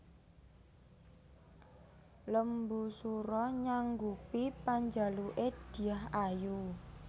Lembusura nyanggupi panjaluke Dyah Ayu